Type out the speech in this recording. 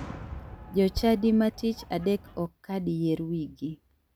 Jochadi ma tich adek ok kad yier wigi.